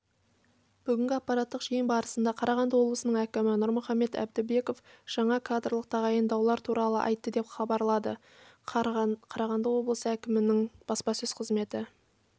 бүгінгі аппараттық жиын барысында қарағанды облысының әкімі нұрмұхамбет әбдібеков жаңа кадрлық тағайындаулар туралы айтты деп хабарладықарағанды облысы әкімінің баспасөз қызметі